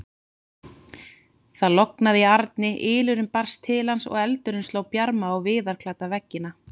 Það logaði í arni, ylurinn barst til hans og eldurinn sló bjarma á viðarklædda veggina.